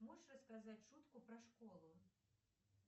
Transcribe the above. можешь рассказать шутку про школу